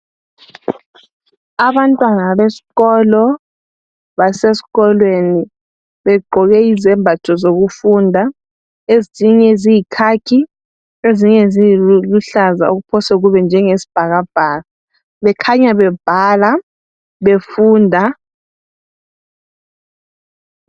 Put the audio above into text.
Abantwana besikolo, basesikolweni begqoke izembatho zokufunda .Ezinye ngeziyikhakhi ,ezinye ngeziluhlaza okuphose kube njenge sibhakabhaka. Bekhanya bebhala befunda.